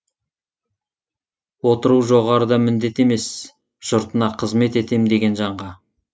отыру жоғарыда міндет емес жұртына қызмет етем деген жанға